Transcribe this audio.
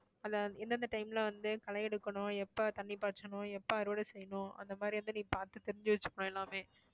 அதுல எந்தெந்த time ல வந்து களை எடுக்கணும் எப்ப தண்ணி பாய்ச்சணும் எப்ப அறுவடை செய்யணும் அந்த மாதிரி வந்து நீ பார்த்து தெரிஞ்சு வச்சுக்கணும் எல்லாமே